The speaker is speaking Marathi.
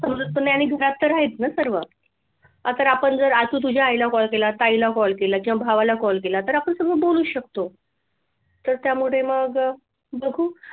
समजत पण नाही आणि घरात तर आहेत ना सर्व आज आपण जर आज तर तुझ्या आईला call केला ताईला call केला की या भावाला call केला तर आपण बोलू शकतो तर त्यामुळे मग बघू.